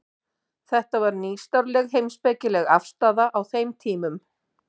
Þetta var nýstárleg heimspekileg afstaða á þeim tímum.